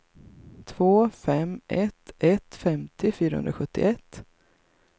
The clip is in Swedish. två fem ett ett femtio fyrahundrasjuttioett